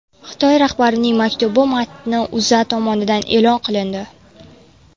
Xitoy rahbarining maktubi matni O‘zA tomonidan e’lon qilindi .